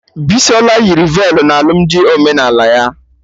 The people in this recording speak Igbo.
Bisola yiri velu na alụmdi omenala ya